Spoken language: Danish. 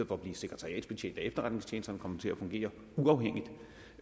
for at blive sekretariatsbetjent af efterretningstjenesterne kommer det til at fungere uafhængigt